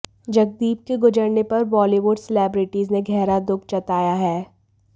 जगदीप के गुजरने पर बॉलीवुड सेलेब्रिटीज ने गहरा दुख जताया है